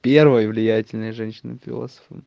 первый влиятельные женщины философы